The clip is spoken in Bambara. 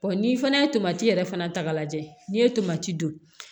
n'i fana ye tomati yɛrɛ fana ta k'a lajɛ n'i ye tomati don